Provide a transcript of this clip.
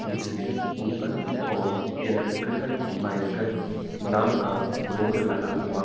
इसमें ऊपर की ओर इलेक्ट्रिकल व्हीकल नाम का बोर्ड लगा हुआ--